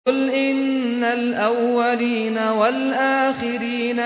قُلْ إِنَّ الْأَوَّلِينَ وَالْآخِرِينَ